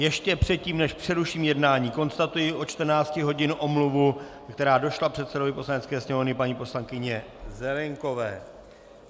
Ještě předtím, než přeruším jednání, konstatuji od 14 hodin omluvu, která došla předsedovi Poslanecké sněmovny, paní poslankyně Zelienkové.